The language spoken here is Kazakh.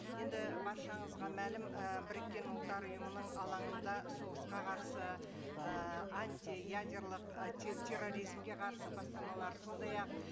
енді баршаңызға мәлім і біріккен ұлттар ұйымының алаңында соғысқа қарсы ііі антиядерлік і терроризмге қарсы бастамалар сондай ақ